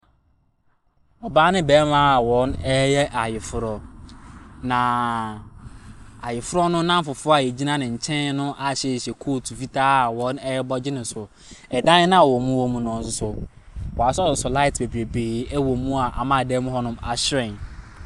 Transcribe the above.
Ɔbaa ne barima wɔreyɛ ayeforo. Na ayeforo no nnanfofoɔ a egyina ne kyɛn no ahyehyɛ coat fitaa wɔn ɛrebɔ gye ne so. Ɛdan noa wɔn wɔ mu no nso wɔaso light bebree wɔ mu a ama ɛdan mu hɔ nom ahyɛrɛn.